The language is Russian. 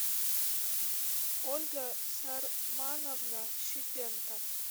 ольга сармановна щетенко